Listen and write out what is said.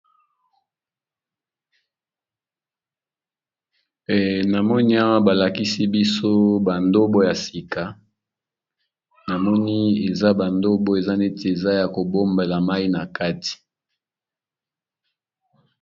Namoni awa balakisi biso bandobo ya sika namoni eza bandobo eza neti eza ya kobombela mai na kati.